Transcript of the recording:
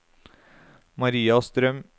Maria Strøm